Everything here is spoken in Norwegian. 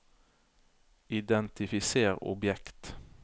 identifiser objekt